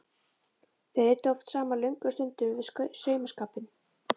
Þær eyddu oft saman löngum stundum við saumaskapinn.